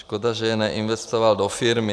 Škoda, že je neinvestoval do firmy.